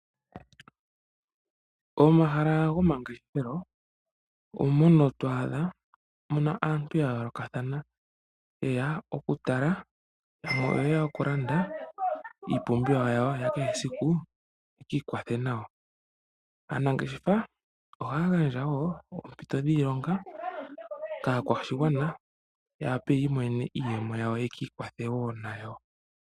Omahala gomangeshefelo omono twaadha muna aantu yayoolokathana ye ya okutala, yamwe oye ya okulanda iipumbiwa yawo yakehesiku yekiikwathe nawa. Aanangeshefa ohaya gandja wo oompito dhiilonga kaakwashigwana yawape yiimonene iiyemo yawo yekikwatho wo nayo.